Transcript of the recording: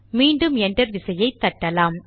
மீண்டும் என்டர் விசையை தட்டலாம்